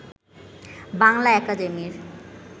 বাংলা একাডেমির